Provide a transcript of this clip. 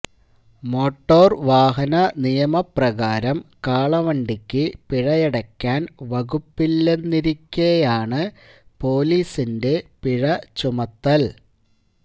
motor വാഹന നിയമപ്രകാരം കാളവണ്ടിക്ക് പിഴയടയ്ക്കാൻ വകുപ്പില്ലെന്നിരിക്കെയാണ് പൊലീസിന്റെ പിഴ ചുമത്തിൽ